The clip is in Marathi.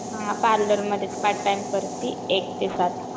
हां पार्लरमध्येच पार्ट टाइम करते एक ते सात.